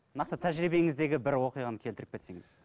нақты тәжірибеңіздегі бір оқиғаны келтіріп кетсеңіз